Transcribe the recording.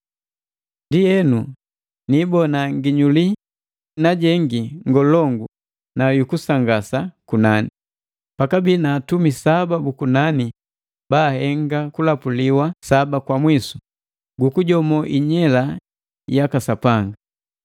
Ndienu ni ibona nginyuli najengi ngolongu na kusangasa kunani. Pakabi na atumi saba bu kunani baahenga kulapuliwa kwa saba kwa mwisu, gukujomo Inyela yaka Sapanga.